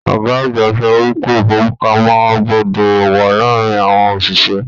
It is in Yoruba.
Ọgá àgbà sọ wípé ifọ́wọ́sowọ́pọ̀ gbọdọ wà láàárín àwọn oṣiṣẹ.